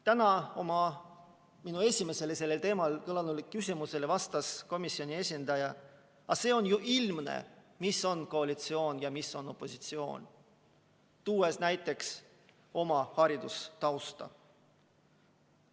Täna vastas komisjoni esindaja minu esimesele sellel teemal kõlanud küsimusele, et on ju ilmne, mis on koalitsioon ja mis on opositsioon, ning tõi näiteks oma haridustausta.